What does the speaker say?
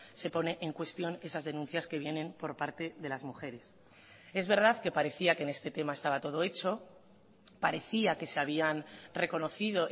se pone en cuestión esas denuncias que vienen por parte de las mujeres es verdad que parecía que en este tema estaba todo hecho parecía que se habían reconocido